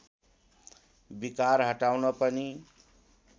विकार हटाउन पनि